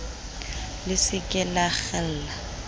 le se ke la kgella